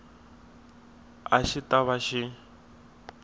a xi ta va xi